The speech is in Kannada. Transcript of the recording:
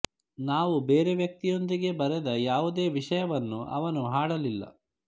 ನಾವು ಬೇರೆ ವ್ಯಕ್ತಿಯೊಂದಿಗೆ ಬರೆದ ಯಾವುದೇ ವಿಷಯವನ್ನು ಅವನು ಹಾಡಲಿಲ್ಲ